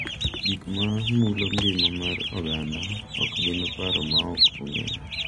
Gik ma mulo ngima mar oganda ok gin paro ma ok ong’ere